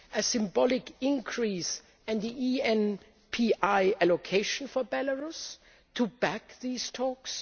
a symbolic increase in the ENPI allocation for Belarus to back these talks